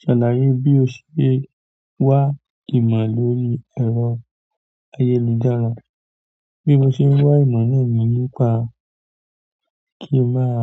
Ṣàlàyé bí o ṣe wá ìmọ̀ lórí ẹ̀rọ ayélujára, bí mo ṣe ń wá ìmọ̀ náà ni nípa kí ń máa